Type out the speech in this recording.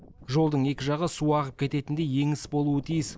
жолдың екі жағы су ағып кететіндей еңіс болуы тиіс